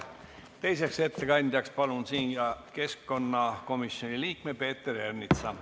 Teiseks ettekandjaks palun siia keskkonnakomisjoni liikme Peeter Ernitsa.